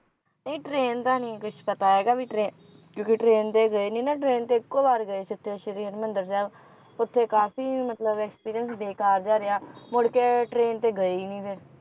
ਨਹੀਂ train ਦਾ ਨਹੀਂ ਕੁਛ ਪਤਾ ਹੈਗਾ ਵੀ train ਕਿਉਂਕਿ train ਤੇ ਗਏ ਨਹੀਂ ਨਾ train ਤੇ ਇੱਕੋ ਵਾਰ ਗਏ ਸੀ ਉੱਥੇ ਸ਼੍ਰੀ ਹਰਮਿੰਦਰ ਸਾਹਿਬ ਉੱਥੇ ਕਾਫੀ ਮਤਲਬ experience ਬੇਕਾਰ ਜਿਹਾ ਰਿਹਾ ਮੁੜਕੇ train ਤੇ ਗਏ ਹੀ ਨਹੀਂ ਫੇਰ